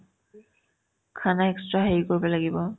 khana extra হেৰি কৰিব লাগিব